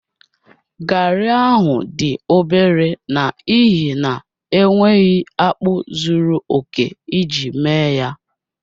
Garri ahụ dị obere n'ihi na enweghị akpu zuru oke iji mee ya